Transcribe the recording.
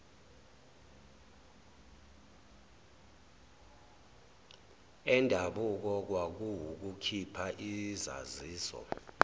endabuko kwakuwukukhipha izaziso